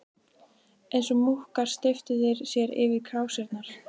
Eins og múkkar steyptu þeir sér yfir krásirnar.